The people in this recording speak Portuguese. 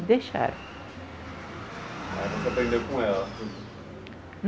deixaram. Mas você aprendeu com ela?